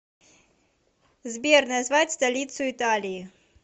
сбер назвать столицу италии